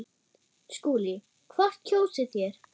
SKÚLI: Hvort kjósið þér?